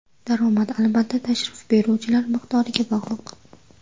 Daromad, albatta, tashrif buyuruvchilar miqdoriga bog‘liq.